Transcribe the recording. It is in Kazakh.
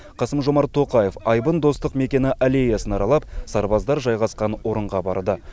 қасым жомарт тоқаев айбын достық мекені аллеясын аралап сарбаздар жайғасқан орынға барды